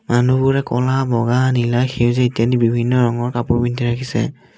মানুহবোৰে ক'লা বগা নীলা সেউজীয়া ইত্যাদি বিভিন্ন ৰঙৰ কাপোৰ পিন্ধি ৰাখিছে।